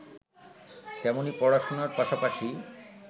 তেমনি পড়াশোনার পাশাপাশি